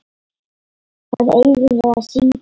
Hvað eigum við að syngja?